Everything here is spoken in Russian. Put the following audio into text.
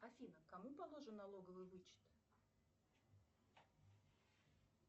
афина кому положен налоговый вычет